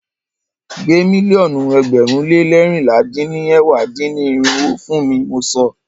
Gbé mílíọ̀nù ẹgbẹ̀rún lé leérinlá dín ní ẹ̀wá dín-ní-irinwó fún ni mọ sọ!